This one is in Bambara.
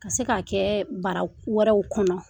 Ka se ka kɛ bara wɛrɛw kɔnɔ.